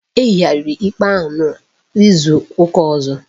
Ehigharịrị ikpe ahụ n'izu ụka ọzọ